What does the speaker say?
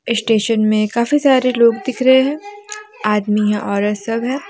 Station में काफी सारे लोग दिख रहे हैं आदमी औरत सब है।